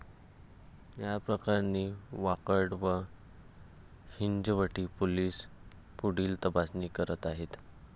या प्रकरणी वाकड व हिंजवडी पोलीस पुढील तपास करत आहेत.